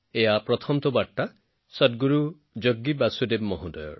এই প্ৰথম বাৰ্তা সদগুৰু জগী বাসুদেৱজীৰ